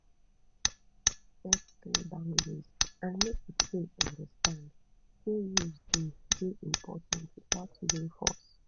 set clear boundries and make di pikin understand sey rules dey dey important without using force